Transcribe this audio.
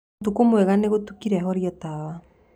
ũtũkũ mwega nĩgũtũkĩre horĩa tawa